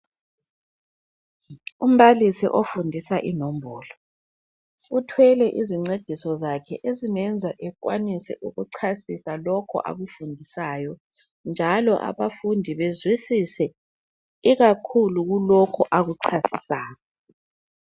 Umbalisi ofundisa inombolo, uthwele izincediso zakhe ezingenza ekwanise ukuchasisa lokhu akufundisayo, njalo abafundi bezwisise ikakhulu kulokho akuchasisayo.